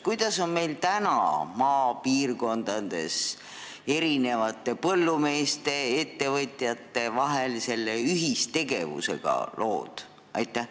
Kuidas on meil praegu maapiirkondades lood põllumeeste, ettevõtjate vahelise ühistegevusega?